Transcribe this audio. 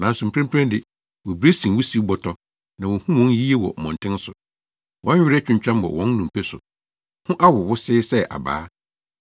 Nanso mprempren de, wobiri sen wusiw bɔtɔ; na wonhu wɔn yiye wɔ mmɔnten so. Wɔn were atwintwam wɔ wɔn nnompe so; ho awo wosee sɛ abaa.